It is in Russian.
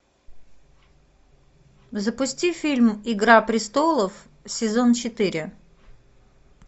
запусти фильм игра престолов сезон четыре